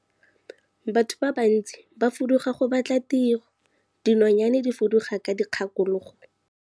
Batho ba bantsi ba fuduga go batla tiro, dinonyane di fuduga ka dikgakologo.